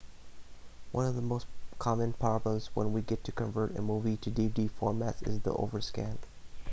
one of the most common problems when trying to convert a movie to dvd format is the overscan